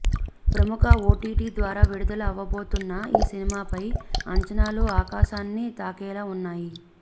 ప్రముఖ ఓటీటీ ద్వారా విడుదల అవ్వబోతున్న ఈ సినిమాపై అంచనాలు ఆకాశాన్ని తాకేలా ఉన్నాయి